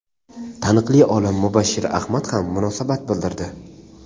taniqli olim Mubashshir Ahmad ham munosabat bildirdi.